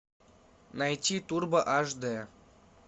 найти турбо аш дэ